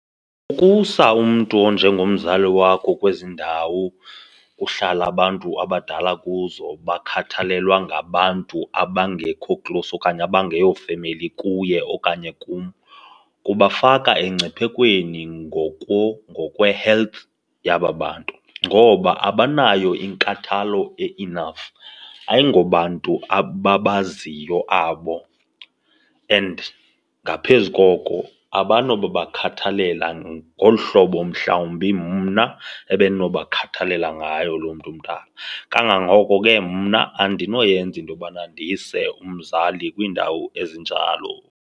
Ukusa umntu onjengomzali wakho kwezi ndawo kuhlala abantu abadala kuzo bakhathalelwe ngabantu abangekho close okanye abangeyo femeli kuye okanye kum, ubafaka engciphekweni ngokwe-health yaba bantu. Ngoba abanayo inkathalo e-enough, ayingobantu ababaziyo abo and ngaphezu koko abanobabakhathalela ngolu hlobo mhlawumbi mna ebendinobakhathalela ngayo loo mntu mdala. Kangangoko ke mna andinoyenza into yobana ndise umzali kwiindawo ezinjalo.